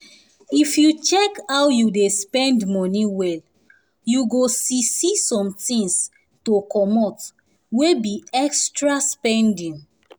if you check how you dey spend money well you go see see somethings to comot wey be extra spending